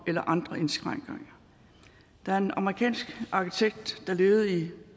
eller andre indskrænkninger der er en amerikansk arkitekt der levede i